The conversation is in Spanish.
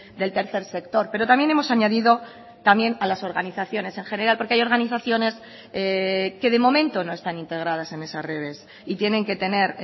del tercer sector pero también hemos añadido también a las organizaciones en general porque hay organizaciones que de momento no están integradas en esas redes y tienen que tener